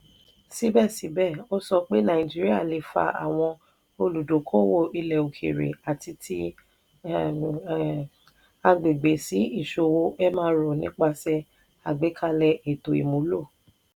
síbẹ̀síbẹ̀ ó sọ pé nàìjíríà lè fa àwọn olùdókòòwò ilẹ̀-òkèèrè àti ti agbègbè sí ìṣòwò mro nípasẹ̀ àgbékalẹ̀ ètò ìmúlò.